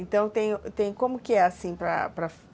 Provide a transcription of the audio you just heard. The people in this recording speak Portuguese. Então, tem tem, como que é assim?